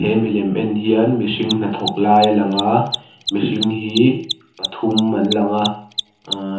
he milem en hian mihring hnathawk lai a lang a mihring hi pathum an langa aa.